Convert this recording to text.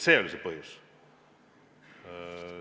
See oli see põhjus.